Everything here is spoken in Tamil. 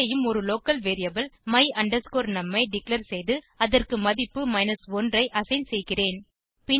இங்கேயும் ஒரு லோக்கல் வேரியபிள் my num ஐ டிக்ளேர் செய்து அதற்கு மதிப்பு 1 ஐ அசைன் செய்கிறேன்